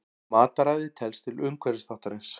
Mataræði telst til umhverfisþáttarins.